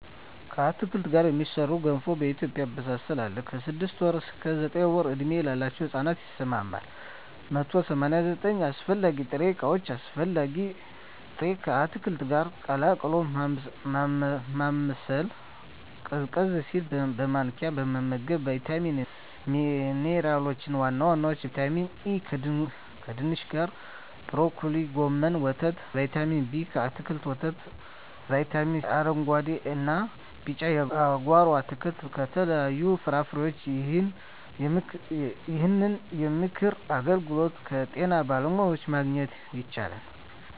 ከአትክልት ጋር የሚሠራ ገንፎ በኢትዮጵያ አበሳሰል አለ። ከ6 ወር እስከ 9 ወር ዕድሜ ላለው ሕጻን ይስማማል። 189 አስፈላጊ ጥሬ ዕቃዎች አስፈላጊ ጥሬ...፣ ከአትክልቱ ጋር ቀላቅሎ ማማሰል፣ ቀዝቀዝ ሲል በማንኪያ መመገብ። , ቫይታሚኖች እና ሚንራሎች(ዋና ዋናዎቹ) ✔️ ቫይታሚን ኤ: ከድንች ካሮት ብሮኮሊ ጎመን ወተት ✔️ ቫይታሚን ቢ: ከአትክልቶች ወተት እና ✔️ ቫይታሚን ሲ: ከአረንጉአዴ እና ቢጫ የጓሮ አትክልት ከተለያዩ ፍራፍሬዎች ይህንን የምክር አገልግሎት ከጤና ባለሙያዎች ማግኘት ይቻላል።